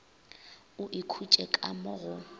o ikhutše ka mo go